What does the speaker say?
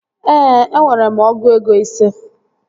Ee, enwere m ọgụ ego ise